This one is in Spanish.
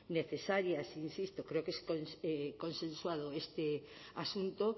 necesarias insisto creo que es consensuado este asunto